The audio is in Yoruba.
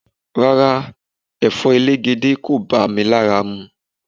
Rárá, Ẹ̀fọ́ elegede kò bá mi lára mu.